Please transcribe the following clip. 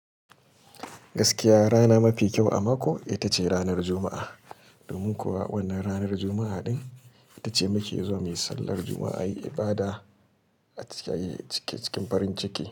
Gaskiya rana mafi kyau a mako ita ce ranar Juma'a. Domin kuwa wannan ranar Juma'a din ita ce muke zuwa mai sallar Juma'a yi ibada a cikin farin ciki.